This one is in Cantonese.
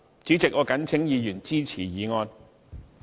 主席，我謹請議員支持議案。